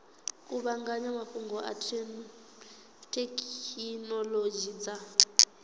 kuvhanganya mafhungo na thekhinolodzhi dza